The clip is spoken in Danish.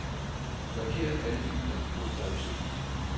Marker alle filer på drev C.